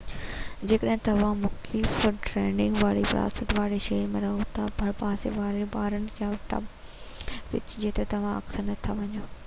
جيڪڏهن توهان مختلف ڊرنڪنگ واري ثقافت واري شهر ۾ رهو ٿا ڀرپاسي وارن بارن يا پب ۾ وڃو جتي توهان اڪثر نٿا وڃو